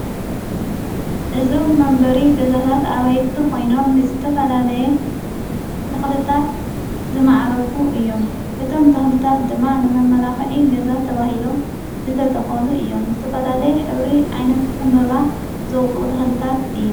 እዞም መንበሪ ገዛታት ኣባይቲ ኾይኖም ዝተፈላለየ ተኽልታት ዝመዓረጉ እዮም እቶም ተኽልታት ድማ ንመ መላዂዒ ገዛት ተብሂሎም ዘተተኸሉ እዮም ዘተፈላለየ ኅብሪ ዓይነት እምበባ ዘውፅኡ ተኽልታት እዮ።